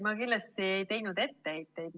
Ma kindlasti ei teinud etteheiteid.